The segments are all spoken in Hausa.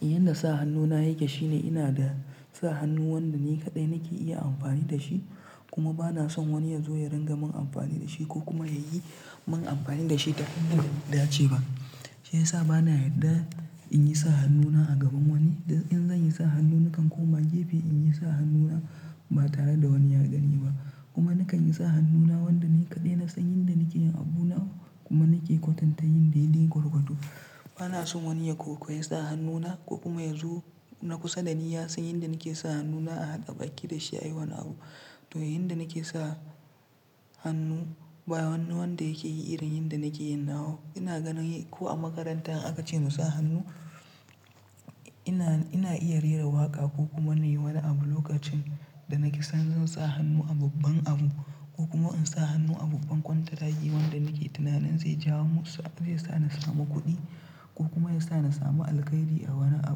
Yanda sa hannu na yake shine ina da sa hannu wanda ni kaɗai nake iya amfani da shi, kuma bana son wani ya zo ya ringa mun amfani da shi ko kuma ya yi mun amfani da shi ta hanyar da ce ba. Shi yasa bana yadda in yi sa hannuna a gaban wani, dan in zan yi sa hannu nakan koma gefe in yi sa hannuna. Ba tare da wani ya gani ba. Kuma nakan yi sa hannuna wanda ni kaɗai na san yanda nake yin abuna, kuma nake kwatanta yin dai-dai gwargwado. Bana son wani ya kokoyi sa hannuna, ko kuma ya zo na kusa da ni ya san yanda nake sa hannuna a haɗa baki da shi a yi wani abu. To yanda nake sa hannu ba wani wanda yake yi irin yanda nake yinawu. Ina gani ko a makaranta in aka ce mu sa hannu, ina iya rera waƙa ko kuma Nai wani abu lokacin da nake san zan sa hannu a babban abu ko kuma in sa hannu a babban kwantiragi wanda nake tunanin zai jawo mu, sa zai sa ni samu kuɗi, ko kuma ya sa na samu alkhairi a wani a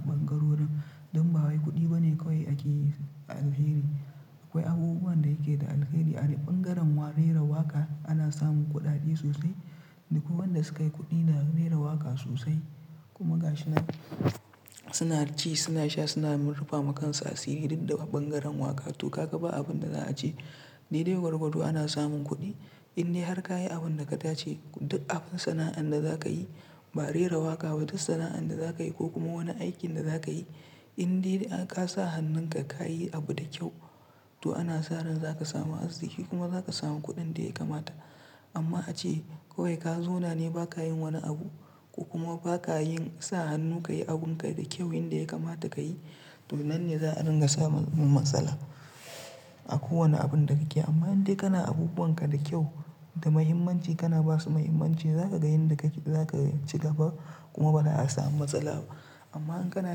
ɓangarori, don ba wai kuɗi bane kawai ake alheri. Akwai abubuwan da yake da alkhairi a de ɓangaren wa rera waƙa ana samun kuɗaɗe sosai, da kuma wanda sukai kuɗi da rera waƙa sosai. Kuma ga shi nan suna ci, suna sha, suna rufa ma kansu asiri duk daga ɓangaren waƙar. To ka ga ba abin da za a ce, dai-dai gwargwado ana samun kuɗi. In dai har ka yi abin da ka dace, duk abin sana'an da za ka yi, ba rera waƙa ba duk sana'an da za ka yi ko kuma wani aikin da za ka yi in dai ka sa hannunka ka yi abu da kyau to ana sa ran za ka samu arziki kuma za ka samu kuɗin da ya kamata. Amma a ce kawai ka zona ne ba ka yin wani abu, ko kuma ba ka yin sa hannu ka yi abunka da kyau yanda ya kamata ka yi, to nan ne za a ringa samun matsala. A kowane abun da kake. Amma in dai kana abubuwan ka da kyau da mahimmanci kana ba su muhimmanci za ka ga yanda kake, za ka ci gaba kuma ba za a samu matsala ba. Amma in kana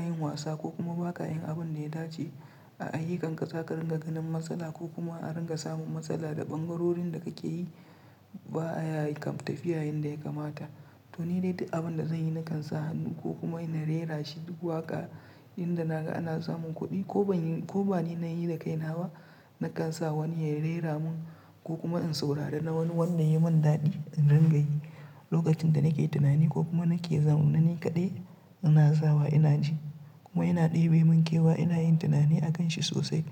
yin wasa ko kuma ba ka yin abun da ya dace a ayyukanka za ka ringa ganin matsala ko kuma a ringa samun matsala da ɓangarorin da kake yi ba a yi tafiya yanda ya kamata. To ni dai di abun da zanyi nakan sa hannu ko kuma na rerashi duk waƙa inda naga ana samun kuɗi, ko ban yi, ko ba ni na yi da kaina ba nakan sa wani ya rera mun ko kuma in saurari na wani wanda yai mun daɗi in ringa yi. Lokacin da nake tunani, ko kuma nake zaune ni kaɗai, ina zawa ina ji. Kuma ina ɗebi mun kewa ina yin tunani a kan shi sosai.